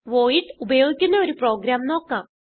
void ഉപയോഗിക്കുന്ന ഒരു program നോക്കാം